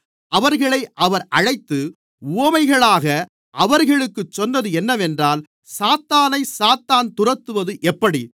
அவர்களை அவர் அழைத்து உவமைகளாக அவர்களுக்குச் சொன்னது என்னவென்றால் சாத்தானைச் சாத்தான் துரத்துவது எப்படி